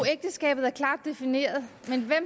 ægteskabet er klart defineret